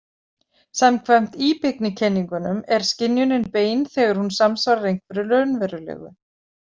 Samkvæmt íbyggnikenningunum er skynjunin bein þegar hún samsvarar einhverju raunverulegu.